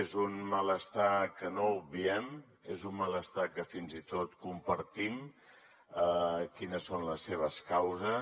és un malestar que no obviem és un malestar que fins i tot compartim quines són les seves causes